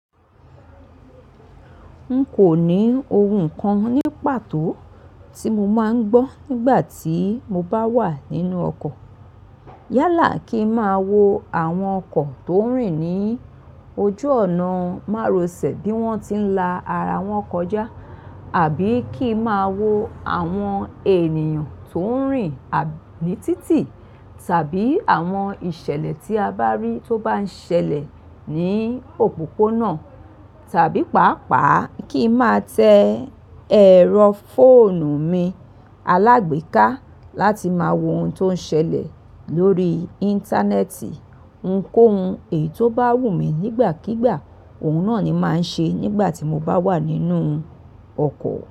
N kò ní oun kan ní pàtó tí mo máa ń gbọ́ nígbà tí mo bá wà nínú ọkọ̀. Yálà kí máa wo àwọn ọkọ̀ tó ń rìn ní ojú ọ̀nà márosẹ̀ bí wọ́n ti ń la ara wọn kọjá, àbí kí máa wo àwọn ènìyàn tó ń rìn ní títì tàbí àwọn ìṣẹ̀lẹ̀ tí a bá rí tó bá ń ṣẹlẹ̀ ní òpópónà tàbí pàápàá kí máa tẹ ẹ̀rọ fóònù mi alágbèéká láti máa wo oun tó ń ṣẹlẹ̀ lórí Íńtánẹ́ẹ̀tì. Nko oun èyí tó bá wù mí nígbàkígbà, oun náà ni màá ń ṣe nígbà tí mo bá wà nínú ọkọ̀